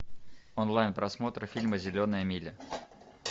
онлайн просмотр фильма зеленая миля